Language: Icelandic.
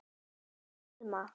Æ, Elma.